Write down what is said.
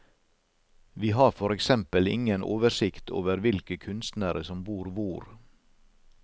Vi har for eksempel ingen oversikt over hvilke kunstnere som bor hvor.